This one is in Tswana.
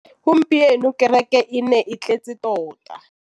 Gompieno kêrêkê e ne e tletse tota.